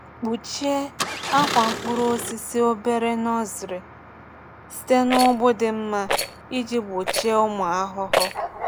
Kpuchie akwa mkpụrụ osisi obere (nursery) site na ụgbụ dị mma iji gbochie ụmụ ahụhụ.